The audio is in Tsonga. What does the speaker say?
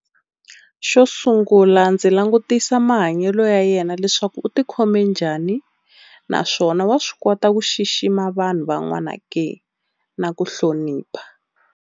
Xo sungula ndzi langutisa mahanyelo ya yena leswaku u ti khome njhani, naswona wa swi kota ku xixima vanhu van'wana ke na ku hlonipha.